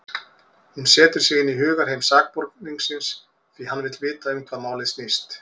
Hann setur sig inn í hugarheim sakborningsins, því hann vill vita um hvað málið snýst.